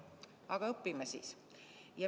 Aga õpime siis!